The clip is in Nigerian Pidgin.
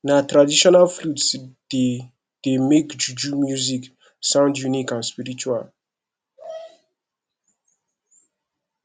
na traditional flute dey dey make juju music sound unique and spiritual